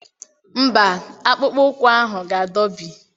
Mba, akpụkpọ ụkwụ ahụ ga-adọbi.